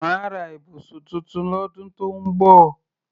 Màá ra ibùsùn tuntun lọ́dún tó ń bọ̀